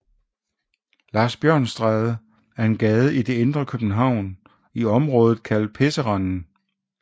Larsbjørnsstræde er en gade i det indre København i området kaldet Pisserenden